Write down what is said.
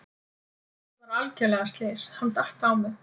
Þetta var algjörlega slys, hann datt á mig.